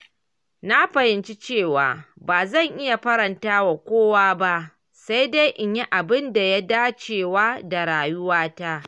Na fahimci cewa ba zan iya faranta wa kowa ba, sai dai in yi abin da ya dacewa da rayuwata.